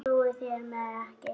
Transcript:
Trúið þið mér ekki?